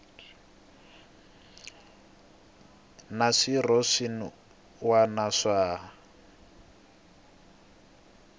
na swirho swin wana swa